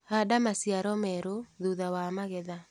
Handa maciaro merũ thutha wa magetha.